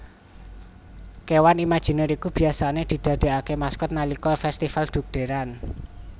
Kéwan imaginer iki biasane didadeake maskot nalikané festifal dhugderan